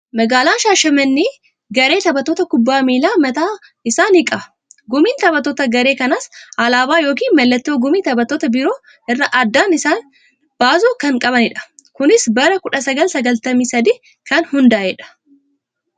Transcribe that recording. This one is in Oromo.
Magaalaan Shaashamannee garee taphattoota kubbaa miilaa mataa isaa ni qaba. Gumiin taphattoota garee kanaas alaabaa yookiin mallattoo gumii taphattoota biroo irraa addaan isaan baasu kan qabanidha. Kunis bara 1993 kan hundaa'edha.